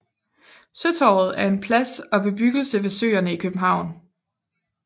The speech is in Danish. Søtorvet er en plads og en bebyggelse ved Søerne i København